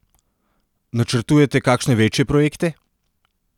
Načrtujete kakšne večje projekte?